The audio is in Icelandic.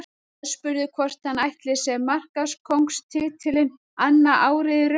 Aðspurður hvort hann ætli sér markakóngstitilinn annað árið í röð.